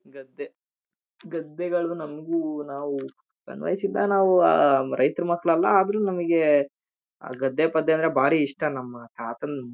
ಗದ್ದೆ ಗದ್ದೆಗಳು ನಮಗೂ ನಾವು ಸಣ್ಣ್ ವಯಸ್ಸಿನಿಂದ ನಾವು ಆಹ್ಹ್ಹ್ ರೈತರ ಮಕ್ಕಳ್ ಅಲ್ಲ ಆದ್ರೂ ನಮಗೆ ಗದ್ದೆ ಪದ್ದೆ ಅಂದ್ರೆ ನಮಗೆ ಬಾರಿ ಇಷ್ಟ ನಮ್ಮ ತಾತದ್ --